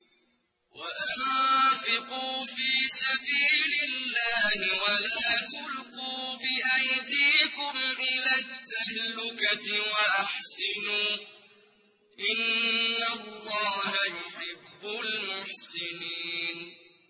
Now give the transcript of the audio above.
وَأَنفِقُوا فِي سَبِيلِ اللَّهِ وَلَا تُلْقُوا بِأَيْدِيكُمْ إِلَى التَّهْلُكَةِ ۛ وَأَحْسِنُوا ۛ إِنَّ اللَّهَ يُحِبُّ الْمُحْسِنِينَ